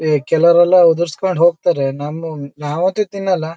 ಈ ಕೆಳವರೆಲ್ಲ ಉದಾರಿಸಿಕೊಂಡು ಕೊಂಡು ಹೋಗ್ತಾರೆ ನಮ್ಮೂ ನಾವ್ ಅಂತೂ ತಿನ್ನೋಲ್ಲ.